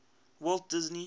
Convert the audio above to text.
walt disney world